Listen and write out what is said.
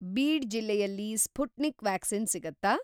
Bead ಜಿಲ್ಲೆಯಲ್ಲಿ Sputnik vaccine ಸಿಗತ್ತಾ?